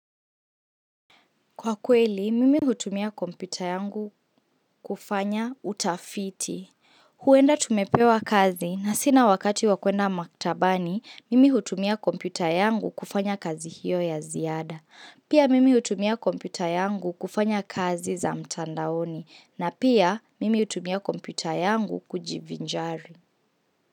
Kwa kweli, mimi hutumia kompyuta yangu kufanya utafiti. Huenda tumepewa kazi na sina wakati wa kwenda maktabani, mimi hutumia kompyuta yangu kufanya kazi hiyo ya ziada. Pia mimi hutumia kompyuta yangu kufanya kazi za mtandaoni na pia mimi hutumia kompyuta yangu kujivinjari.